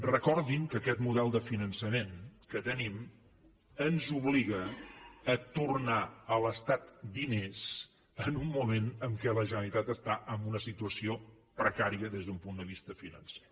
recordin que aquest model de finançament que tenim ens obliga a tornar a l’estat diners en un moment en què la generalitat està en una situació precària des d’un punt de vista financer